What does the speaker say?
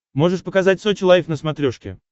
можешь показать сочи лайф на смотрешке